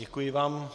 Děkuji vám.